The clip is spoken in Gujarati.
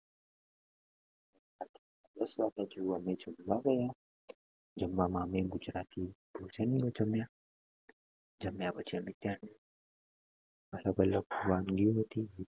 પછી અમે જવા ગયા જમવા માં અમમે ગુજરાતી ભોજન માં જમ્યા જમ્યા પછી અમે ત્યાં અલગ અલગ વાનગીઓ હતી